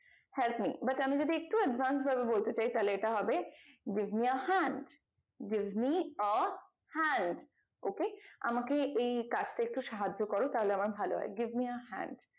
help me but আমি যদি একটু advance ভাবে বলতে চাই তাহলে এটা হবে give me your hand give me your hand ok আমাকে এই কাজটা একটু সাহায্য করো তাহলে আমার ভালো হয় give me your hand